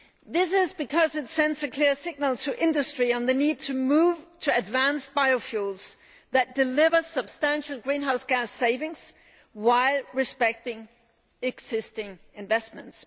This is because it sends a clear signal to industry on the need to move to advanced biofuels that deliver substantial greenhouse gas savings while respecting existing investments.